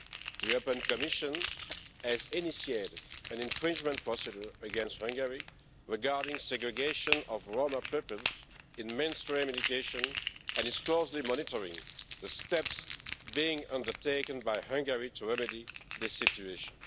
The Commission has initiated an infringement procedure against Hungary regarding segregation of Roma peoples in mainstream education and is closely monitoring the steps being undertaken by Hungary to remedy this situation.